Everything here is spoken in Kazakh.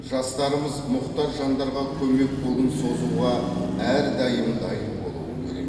жастарымыз мұқтаж жандарға көмек қолын созуға әрдайым дайын болуы керек